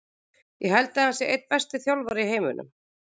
Ég held að hann sé einn besti þjálfari í heiminum.